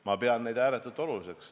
Ma pean seda kõike ääretult oluliseks.